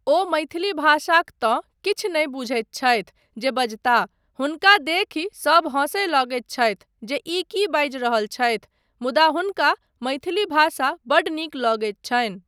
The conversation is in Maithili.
ओ मैथिली भाषाक तँ किछु नहि बुझैत छथि जे बजताह, हुनका देखि सभ हँसय लगैत छथि जे ई की बाजि रहल छथि मुदा हुनका मैथिली भाषा बड्ड नीक लगैत छनि।